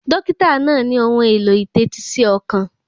Dọ́kítà náà ní ohun èlò ìtẹ́tí sí ọkàn.